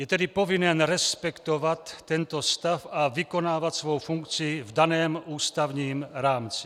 Je tedy povinen respektovat tento stav a vykonávat svou funkci v daném ústavním rámci.